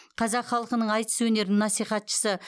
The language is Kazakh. қазақ халқының айтыс өнерінің насихатшысы